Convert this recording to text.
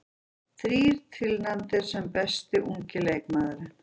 Þrír tilnefndir sem besti ungi leikmaðurinn